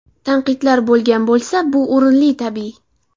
Tanqidlar bo‘lgan bo‘lsa, bu o‘rinli, tabiiy.